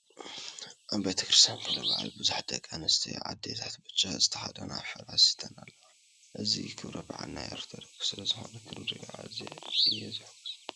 ኣብ ቤተ-ክርስትያን ክብረ በዓል ብዙሓት ደቂ ኣነስትዮ ኣዴታት ብጫ ዝተከደና ፈላሲተን ኣለዋ። እዚ ክብረ በዓል ናይ ኦርቶዶክስ ስለዝኮነ ክሪኦ ኣዝየ እየ ዝሕጎስ።